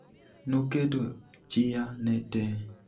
noketo chiya ne tee